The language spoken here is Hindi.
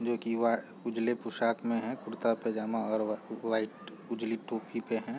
जो की वा-उजले पोषाक में है कुर्ता पैजामा और व-वाइट उजली टोपी पे है।